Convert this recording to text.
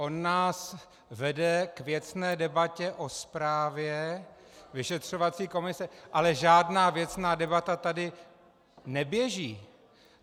On nás vede k věcné debatě o zprávě vyšetřovací komise, ale žádná věcná debata tady neběží.